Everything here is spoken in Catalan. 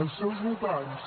els seus votants